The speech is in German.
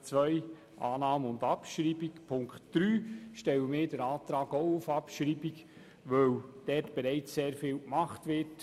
Bei Ziffer 2 sind wir für Annahme und Abschreibung, und zu Ziffer 3 stellen wir den Antrag auf Abschreibung, weil in diesem Bereich bereits sehr vieles gemacht wird.